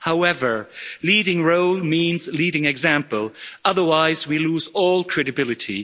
However, leading role means leading example, otherwise we lose all credibility.